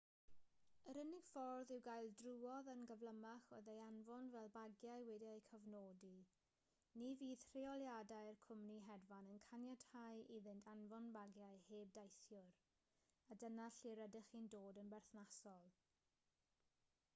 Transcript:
yr unig ffordd i'w gael drwodd yn gyflymach oedd ei anfon fel bagiau wedi'u cofnodi ni fydd rheoliadau'r cwmni hedfan yn caniatáu iddynt anfon bagiau heb deithiwr a dyna lle rydych chi'n dod yn berthnasol